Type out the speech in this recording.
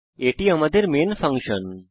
এটি আমাদের main function